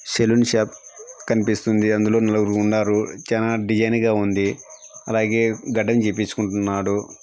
సెలోన్ shop కనిపిస్తుంది అందులో నలుగురు ఉన్నారు చానా డిజైన్ గా ఉంది అలాగే గెడ్డం గీయపించుకుంటున్నారు.